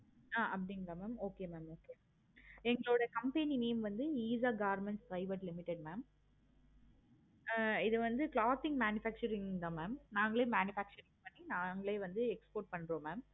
ஆஹ் அப்படிங்களா ma'am okay ma'am okay engaludaiya company name வந்து eesha government private limited ஆஹ் இது வந்து clothing manufacturing தான் ma'am நாங்களே manufacturing பண்ணி நாங்களே export பன்றோம் ma'am